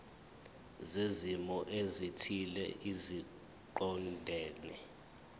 zezimo ezithile eziqondene